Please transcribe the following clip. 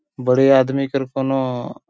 बड़े आदमी कर कौनों --